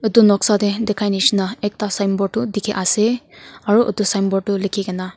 edu noksa tae dikhanishina ekta signboard tu dikhiase aro edu signboard tu likhikaena--